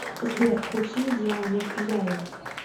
сбер включи диану кияеву